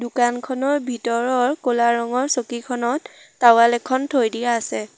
দোকানখনৰ ভিতৰৰ ক'লা ৰঙৰ চকীখনত টাৱেল এখন থৈ দিয়া আছে।